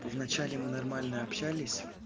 вначале мы нормально общались